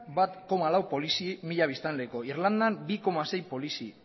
bat koma lau polizi mila biztanleko irlandan bi koma sei polizi